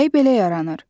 Külək belə yaranır.